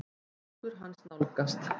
Fingur hans nálgast.